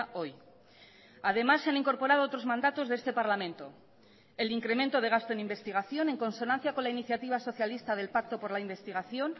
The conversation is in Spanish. hoy además se han incorporado otros mandatos de este parlamento el incremento de gasto en investigación en consonancia con la iniciativa socialista del pacto por la investigación